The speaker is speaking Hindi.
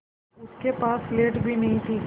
उसके पास स्लेट भी नहीं थी